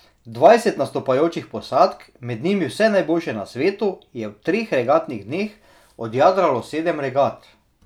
Dvajset nastopajočih posadk, med njimi vse najboljše na svetu, je v treh regatnih dneh odjadralo sedem regat.